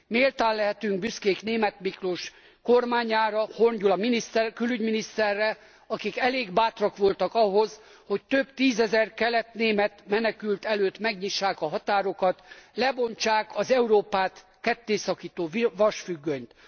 Méltán lehetünk büszkék Németh Miklós kormányára, Horn Gyula külügyminiszterre, akik elég bátrak voltak ahhoz, hogy több tízezer keletnémet menekült előtt megnyissák a határokat, lebontsák az Európát kettészakító vasfüggönyt.